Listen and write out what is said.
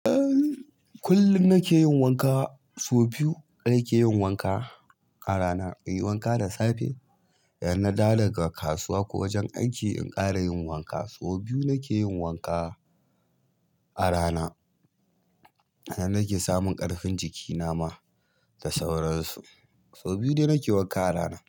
Kullum nake yin wanka, so biyu nake yin wanka a rana. Inyi wanka da safe, idan na dawo daga kasuwa ko wajen aiki in ƙara yin wanka. So biyu nake yin wanka a rana. Hane nake samun ƙarfin jiki na ma da sauransu. So biyu ne nake wanka a rana.